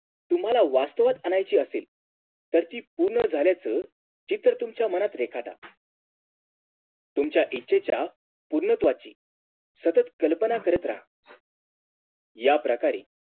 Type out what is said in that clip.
तुम्हाला वाचवत आणायची असेल तर ती पूर्ण झाल्याचं चित्र तुमच्या मनात रेखाटा तुमच्या इच्छेच्या पूर्णत्वाची सतत कल्पना करत रहा याप्रकारे